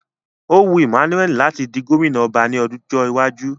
Ó wu Emmanuel láti di gómìnà ọba ní ọjọ́ iwájú